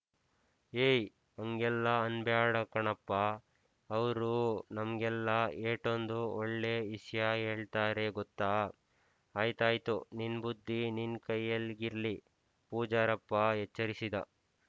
ಯೇ ಅಂಗೆಲ್ಲ ಅನ್‍ಬ್ಯಾಡ ಕಣ ಪ್ಪಾ ಅವ್ರು ನಮ್ಗೆಲ್ಲ ಏಟೊಂದ್ ಒಳ್ಳೆ ಇಸ್ಯ ಯೇಳ್ತಾರೆ ಗೊತ್ತ ಆಯ್ತಾಯ್ತು ನಿನ್ ಬುದ್ದಿ ನಿನ್ ಕೈಯ್ಯಾಲ್ ಗಿರ್ಲಿ ಪೂಜಾರಪ್ಪ ಎಚ್ಚರಿಸಿದ